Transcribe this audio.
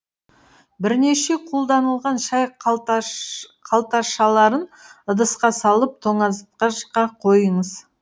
бірнеше қолданылған шай қалташаларын ыдысқа салып тоңазтқышқа қойыңыз